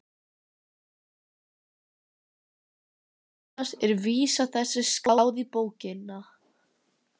Annars er vísa þessi skráð í bókina